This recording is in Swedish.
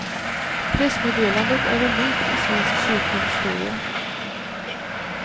Pressmeddelandet är unikt i svensk kyrkohistoria.